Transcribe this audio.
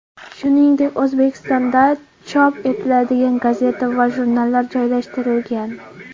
Shuningdek, O‘zbekistonda chop etiladigan gazeta va jurnallar joylashtirilgan.